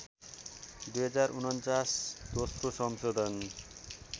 २०४९ दोश्रो संसोधन